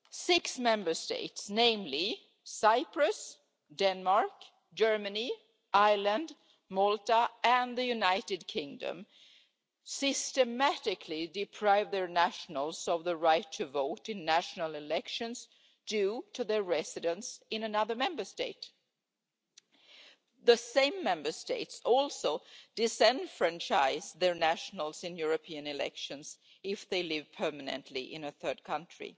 Six Member States namely Cyprus, Denmark, Germany, Ireland, Malta and the United Kingdom systematically deprive their nationals of the right to vote in national elections due to their residence in another Member State. The same Member States also disenfranchise their nationals in European elections if they live permanently in a third country.